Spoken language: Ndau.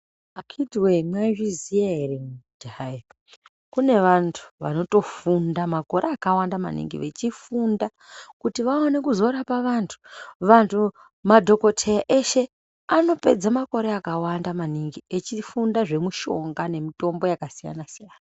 Akhiti wee mwaizviziya here kuti hayi kune vantu vanotofunda makore akawanda maningi vechifunda kuti vaone kuzorapa vantu. Vantu, madhokoteya eshe anopedza makore akawanda maningi echifunda zvemushonga nemutombo yakasiyana-siyana.